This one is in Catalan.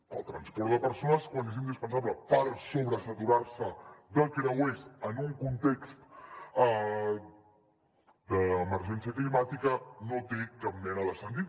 per al transport de persones quan és indispensable per sobresaturar se de creuers en un context d’emergència climàtica no té cap mena de sentit